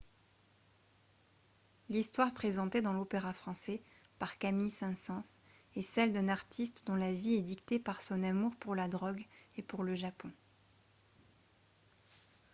l'histoire présentée dans l'opéra français par camille saint-saens est celle d'un artiste « dont la vie est dictée par son amour pour la drogue et pour le japon »